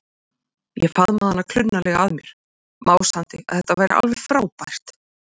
Ég faðmaði hana klunnalega að mér, másandi að þetta væri alveg frábært.